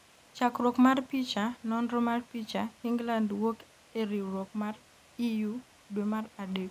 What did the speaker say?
chakruok mar picha, nonro mar picha, England wuok e riwruok mar EU dwe mar adek